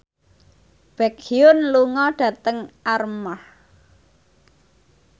Baekhyun lunga dhateng Armargh